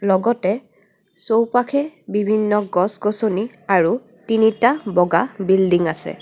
লগতে চৌপাশে বিভিন্ন গছ-গছনি আৰু তিনিটা বগা বিল্ডিং আছে।